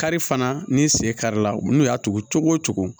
Kari fana ni sen kari la u bɛ n'u y'a tugu cogo o cogo